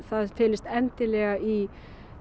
það felist endilega í